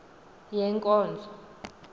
yenkonzo